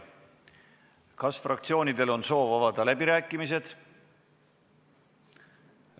Kas fraktsioonidel on soovi avada läbirääkimisi?